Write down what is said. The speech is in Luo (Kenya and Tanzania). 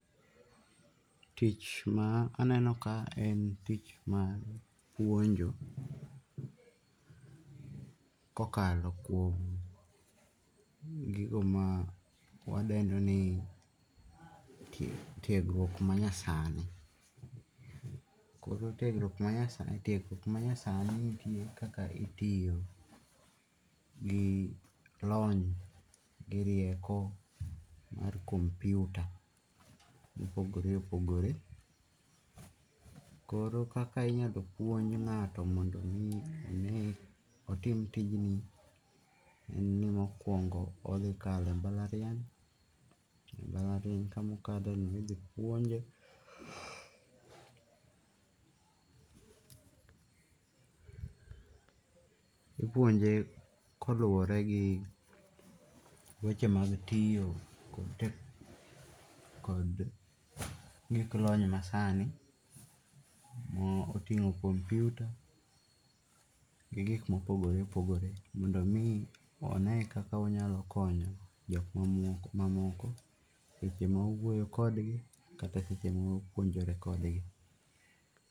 Tich ma aneno kae en tich mar puonjo kokalo kuom gigo ma wadendo ni tiegruok manyasani koro tiegruok manyasani nitie kaka itiyo gi lony gi rieko mar kompiuta mopogore opogore koro kaka inyalo puonj ngato mondo mi one otim tijni nge'ni mokuongo othikalo e mbalariany, mbalariany kama kama othikatheno ithipuonje , ithipuonje ipuojne koluore gi weche mag tiyo kod gik lony masani motingo' komputa gi gik mo opogore opogore omi one kaka wanyalo konyo jok ma moko seche ma wauoyo kodgi kata seche ma wapuonjore kodgi